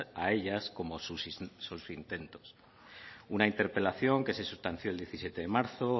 a ellas como sus intentos una interpelación que se sustanció el diecisiete de marzo